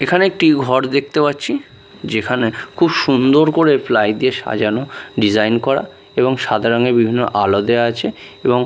এখানে একটি ঘর দেখতে পাচ্ছি যেখানে খুব সুন্দর করে প্লাই দিয়ে সাজানো ডিজাইন করা এবং সাদা রঙের বিভিন্ন আলো দেওয়া আছে এবং --